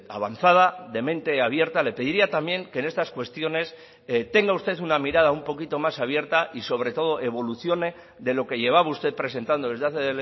avanzada de mente abierta le pediría también que en estas cuestiones tenga usted una mirada un poquito más abierta y sobre todo evolucione de lo que llevaba usted presentando desde hace